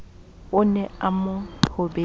ne a mo thobetse ra